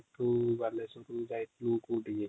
|